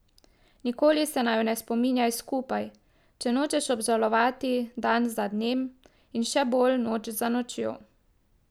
Nikoli se naju ne spominjaj skupaj, če nočeš obžalovati dan za dnem in še bolj noč za nočjo.